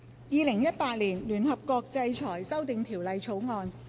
《2018年聯合國制裁條例草案》。